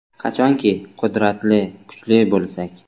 Qachonki qudratli, kuchli bo‘lsak.